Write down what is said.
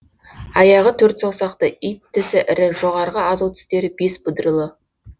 аяғы төрт саусақты ит тісі ірі жоғарғы азу тістері бес бұдырлы